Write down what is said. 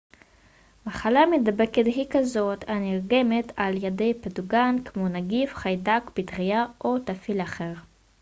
מחלה מידבקת היא כזאת הנגרמת על ידי פתוגן כמו נגיף חיידק פטרייה או טפיל אחר